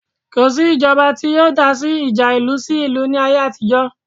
Kò sí ìjọba tí yóò dásí ìjà ìlú sí ìlú ní ayé àtijọ́